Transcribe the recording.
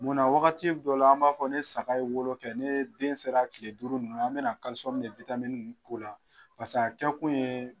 Munna wagati dɔ la, an b'a fɔ ne saga ye wolo kɛ ne den sera tile duuru ninnu an bɛna kalisɔmu kɛ witamini ninnu k'o la paseke kɛ kun ye.